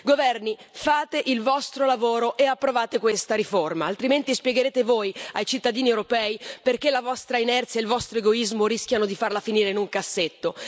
Governi, fate il vostro lavoro e approvate questa riforma, altrimenti spiegherete voi ai cittadini europei perché la vostra inerzia e il vostro egoismo rischiano di farla finire in un cassetto.